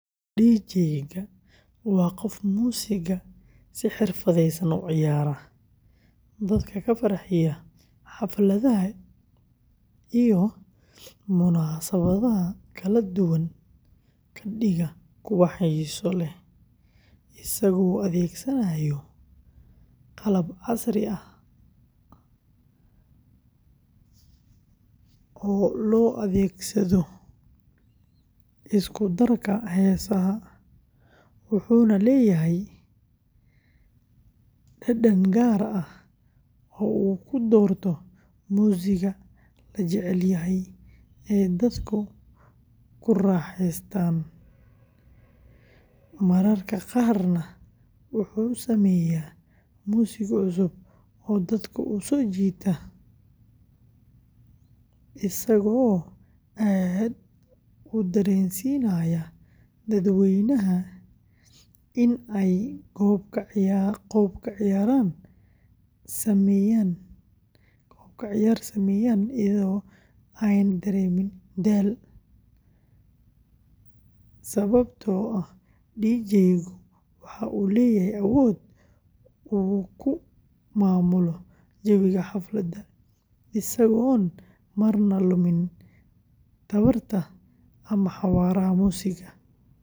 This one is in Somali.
DJ-ga waa qof muusigga si xirfadeysan u ciyaara, dadka ka farxiya, xafladaha iyo munaasabadaha kala duwan ka dhiga kuwo xiiso leh, isagoo adeegsanaya qalab casri ah oo loo adeegsado isku darka heesaha, wuxuuna leeyahay dhadhan gaar ah oo uu ku doorto muusigga la jecel yahay ee dadku ku raaxeystaan, mararka qaarna wuxuu sameeyaa muusig cusub oo dadka u soo jiita isagoo aad u dareensiinaya dadweynaha in ay qoob-ka-ciyaar sameeyaan iyadoo aanay dareemin daal, sababtoo ah DJ-gu waxa uu leeyahay awood uu ku maamulo jawiga xafladda, isagoon marna luminin tamarta ama xawaaraha muusigga.